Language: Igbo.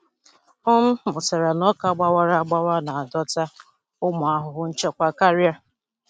M mụtara na ọka gbawara agbawa na-adọta ụmụ ahụhụ nchekwa karịa.